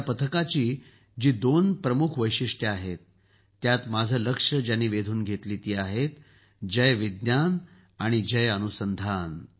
या पथकाची जी दोन प्रमुख वैशिष्ट्यं आहेत त्यात माझं लक्ष ज्यांनी वेधून घेतली ती आहेत जय विज्ञान आणि जय अनुसंधान